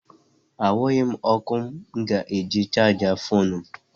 Ahụghị m ọkụ mụ ga-eji chaajị foonu m.